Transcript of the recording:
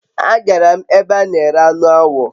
agara m ebe ana ere anu awo